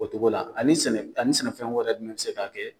O cogo la ani sɛnɛ ani sɛnɛfɛn wɛrɛ jumɛn bɛ se ka kɛ